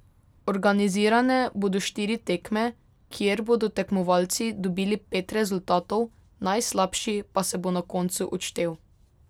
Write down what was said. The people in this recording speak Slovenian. Organizirane bodo štiri tekme, kjer bodo tekmovalci dobili pet rezultatov, najslabši pa se bo na koncu odštel.